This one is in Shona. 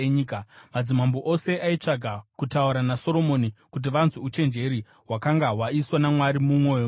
Madzimambo ose aitsvaga kutaura naSoromoni kuti vanzwe uchenjeri hwakanga hwaiswa naMwari mumwoyo make.